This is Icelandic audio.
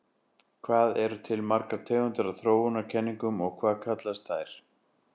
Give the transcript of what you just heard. Hvað eru til margar tegundir af þróunarkenningum og hvað kallast þær?